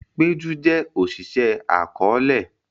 Peju jé Oṣiṣẹ akọọlẹ